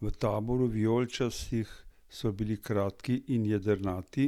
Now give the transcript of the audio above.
V taboru vijoličnih so bili kratki in jedrnati: